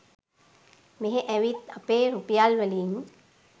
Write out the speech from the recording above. මෙහෙ ඇවිත් අපේ රුපියල් වලින්